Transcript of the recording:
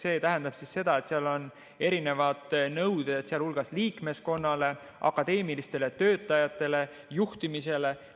See tähendab seda, et seal on erinevad nõuded, sh liikmeskonnale, akadeemilistele töötajatele, juhtimisele.